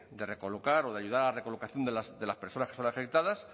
de recolocar o de ayudar a la recolocación de las personas que son afectadas